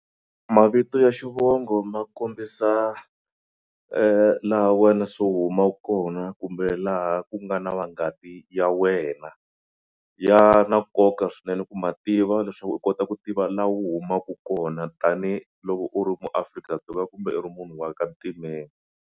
Mavito ya xivongo ma kombisa laha wena se u humaka kona kumbe laha ku nga na vangati ya wena. Ya na nkoka swinene ku ma tiva leswaku u kota ku tiva laha u humaka kona tanihiloko u maAfrika-Dzonga kumbe u ri munhu wa ka ntimeni.